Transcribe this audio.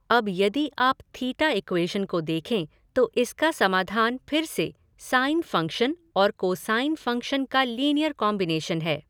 अब यदि आप थीटा इक्वेश़न को देखें तो इसका समाधान फिर से साइन फ़ंक्शन और कोसाइन फ़ंक्शन का लीनिअर कॉम्बिनेशन है।